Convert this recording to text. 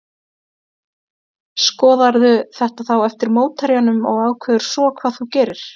Skoðarðu þetta þá eftir mótherjanum og ákveður svo hvað þú gerir?